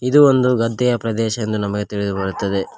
ಇದು ಒಂದು ಗದ್ದೆಯ ಪ್ರದೇಶ ಎಂದು ನಮಗೆ ತಿಳಿದು ಬರುತ್ತದೆ.